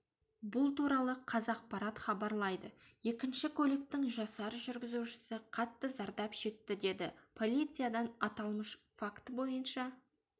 бұл туралы қазақпарат хабарлайды екінші көліктің жасар жүргізушісі қатты зардап шекті деді полициядан аталмыш факті бойынша